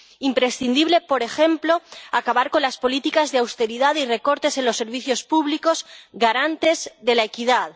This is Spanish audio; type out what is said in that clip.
Imprescindible es, por ejemplo, acabar con las políticas de austeridad y recortes en los servicios públicos garantes de la equidad.